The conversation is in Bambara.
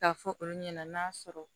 K'a fɔ olu ɲɛna n'a sɔrɔ